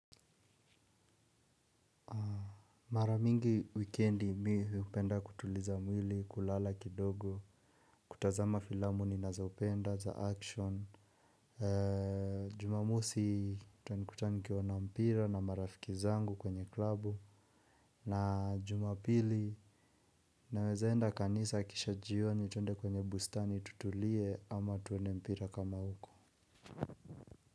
Mara mingi wikendi mimi hupenda kutuliza mwili kulala kidogo kutazama filamu ninazo penda za action. Jumamosi utanikuta nikiona mpira na marafiki zangu kwenye klabu. Na jumapili nawezaenda kanisa kisha jioni tuende kwenye bustani tutulie ama tuende mpira kama uko.